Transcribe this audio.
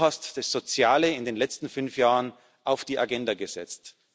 Du hast das Soziale in den letzten fünf Jahren auf die Agenda gesetzt.